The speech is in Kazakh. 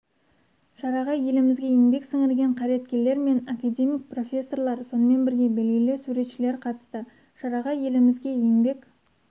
шараға елімізге еңбек сіңірген қайраткерлер мен академик профессорлар сонымен бірге белгілі суретшілер қатысты шараға елімізге еңбек